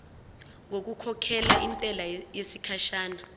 ngokukhokhela intela yesikhashana